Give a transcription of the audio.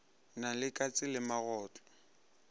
na le katse le magotlo